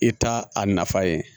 I t'a a nafa ye